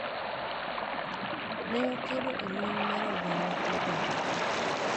ne okedo e lweny mar oganda gi oganda,